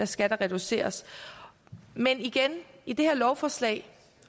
skal der reduceres men igen i det her lovforslag